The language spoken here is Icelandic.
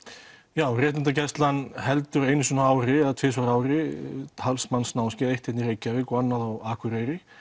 já réttindagæslan heldur einu sinni á ári eða tvisvar á ári talsmanns námskeið eitt hérna í Reykjavík og annað á Akureyri